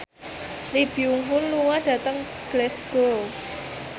Lee Byung Hun lunga dhateng Glasgow